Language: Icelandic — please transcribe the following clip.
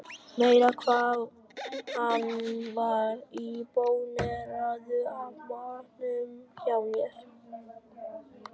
Meira hvað hann var impóneraður af matnum hjá mér.